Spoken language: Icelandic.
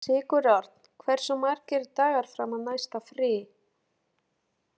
Sigurörn, hversu margir dagar fram að næsta fríi?